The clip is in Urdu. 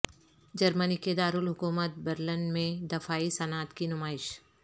جرمنی کے دارالحکومت برلن میں دفاعی صنعت کی نمائش